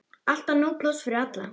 Alltaf nóg pláss fyrir alla.